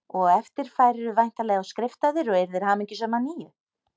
Og á eftir færirðu væntanlega og skriftaðir og yrðir hamingjusöm að nýju